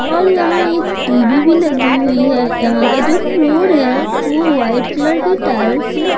और यहाँ एक टी_वी भी लगी हुई है यहाँ का जो फ्लोर है वो वाइट कलर के टाइल्स से --